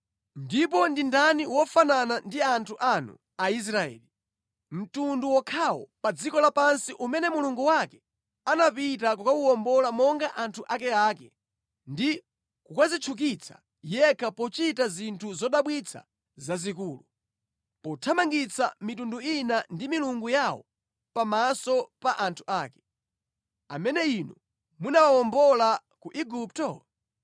Ndipo ndi ndani wofanana ndi anthu anu Aisraeli, mtundu wokhawo pa dziko lapansi umene Mulungu wake anapita kukawuwombola monga anthu akeake ndi kukadzitchukitsa yekha pochita zinthu zodabwitsa zazikulu, pothamangitsa mitundu ina ndi milungu yawo pamaso pa anthu ake, amene Inu munawawombola ku Igupto?